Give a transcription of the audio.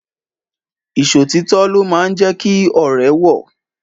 Ìṣòtítọ́ ló máa ń jẹ́ kí ọ̀rẹ́ wọ̀